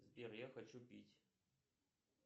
сбер я хочу пить